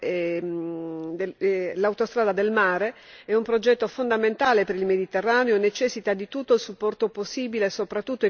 L'autostrada del mare è un progetto fondamentale per il Mediterraneo e necessita di tutto il supporto possibile, soprattutto economico, da parte dell'Unione europea.